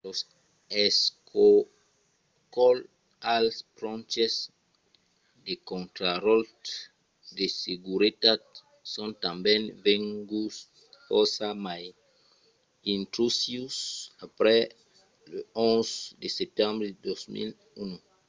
los escorcolhs als ponches de contraròtle de seguretat son tanben venguts fòrça mai intrusius après l'11 de setembre de 2001